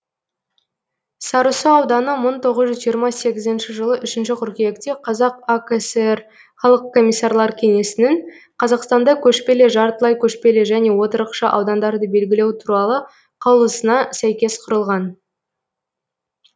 сарысу ауданы мың тоғыз жүз жиырма сегізінші жылы үшінші қыркүйекте қазақ акср халық комиссарлар кеңесінің қазақстанда көшпелі жартылай көшпелі және отырықшы аудандарды белгілеу туралы қаулысына сәйкес құрылған